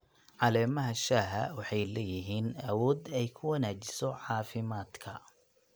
Caleemaha shaaha waxay leeyihiin awood ay ku wanaajiso caafimaadka.